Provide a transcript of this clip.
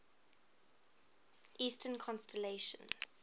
eastern constellations